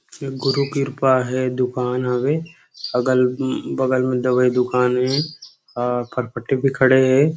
गुरु कृपा हे दुकान हवे अगल-बगल में दवई हे और फरफटी भी खड़े हे।